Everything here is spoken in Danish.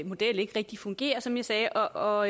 model ikke rigtig fungerer som jeg sagde og